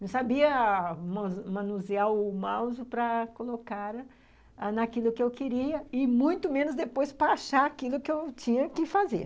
Não sabia manusear o mouse para colocar naquilo que eu queria, e muito menos depois para achar aquilo que eu tinha que fazer.